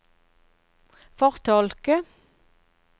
fortolke